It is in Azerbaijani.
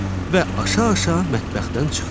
Və aşa-aşa mətbəxdən çıxdı.